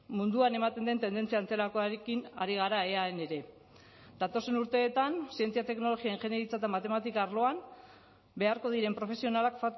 munduan ematen den tendentzia antzerakoarekin ari gara eaen ere datozen urteetan zientzia teknologia ingeniaritza eta matematika arloan beharko diren profesionalak